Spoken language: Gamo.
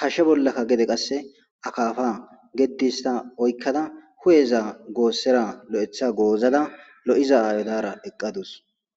Hashe bollaka gede qase akafa gedi hista oykada , hu'eza goosera lo'etha goozada lo'iza aayo Dara eqadus.